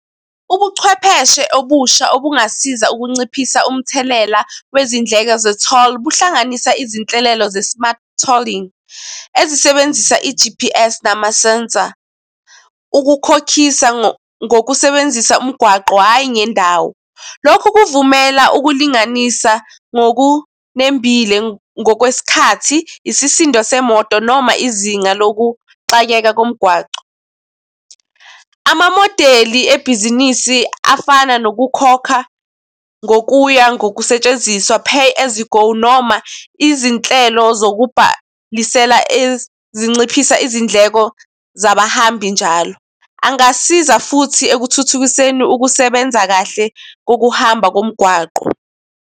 Ubuchwepheshe obusha, obukungasiza ukunciphisa umthelela wezindleko ze-toll buhlanganisa izinhlelelo ze-smart tolling ezisebenzisa i-G_P_S namasensa, ukukhokhisa ngokusebenzisa umgwaqo, hhayi ngendawo. Lokhu kuvumela ukulinganisa ngokunembile ngokwesikhathi isisindo semoto noma izinga lokuqaleka komgwaqo. Amamodeli ebhizinisi afana nokukhokha ngokuya ngokusetshenziswa pay as you go noma izinhlelo zokubhaniseka ezinciphisa izindleko zabahambi njalo. Angasiza futhi ekuthuthukiseni ukusebenza kahle kokuhamba komgwaqo.